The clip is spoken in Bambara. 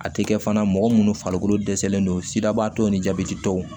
A tɛ kɛ fana mɔgɔ minnu farikolo dɛsɛlen don sidabaatɔw ni jabɛti tɔw